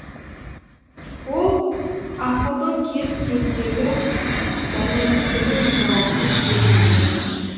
ол ақылдың кез кездегі дәрменсіздігі мен жауапсыз сезімдер